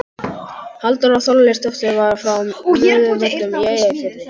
Halldóra Þorleifsdóttir var frá Möðruvöllum í Eyjafirði.